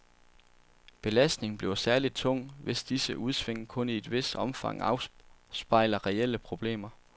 Belastningen bliver særligt tung, hvis disse udsving kun i et vist omfang afspejler reelle problemer.